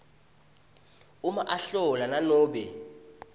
uma ahlola nanobe